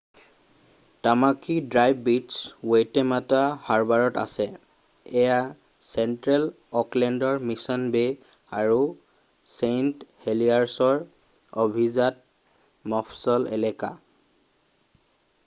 Tamaki Drive beach Waitemata হাৰ্বাৰত আছে এয়া চেণ্ট্ৰেল অ'কলেণ্ডৰ মিছন বে' আৰু ছেইণ্ট হেলিয়াৰ্ছৰ অভিজাত মফচল এলেকা